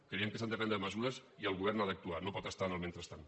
creiem que s’han de prendre mesures i el govern ha d’actuar no pot estar en el mentrestant